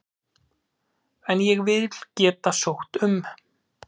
En ég vil geta sótt um.